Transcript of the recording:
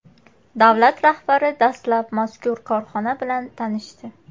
Davlat rahbari dastlab mazkur korxona bilan tanishdi.